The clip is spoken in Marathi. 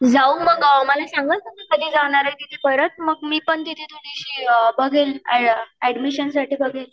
जाऊ मग मला सांगा कधी जाणार आहे परत मग मी पण तिथे थोडीशी बघेल ऍडमिशनसाठी बघेल